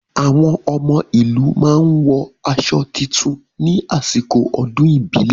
Àwọn ọmọ ìlú máa wọ aṣọ tuntun ní àsìkò ọdún ìbílẹ̀.